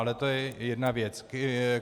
Ale to je jedna věc.